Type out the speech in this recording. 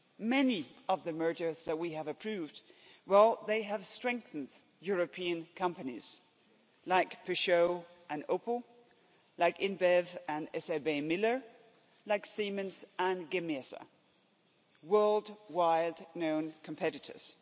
Many of the mergers that we have approved, well they have strengthened European companies like Peugeot and Opel, like InBev and SABMiller, like Siemens and Gamesa, world wide known competitors.